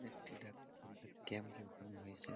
এ ধেটা উম এ ক্যাম্প বসানো হয়েছে ।